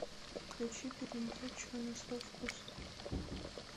включи передачу на свой вкус